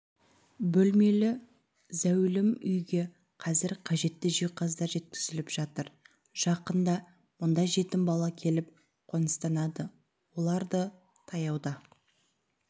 бөлмелі зәулім үйге қазір қажетті жиһаздар жеткізіліп жатыр жақында мұнда жетім бала келіп қоныстанады оларды таяуда